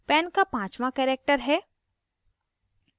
pan का पाँचवाँ character है